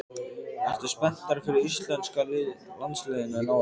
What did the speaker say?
Ertu spenntari fyrir íslenska landsliðinu en áður?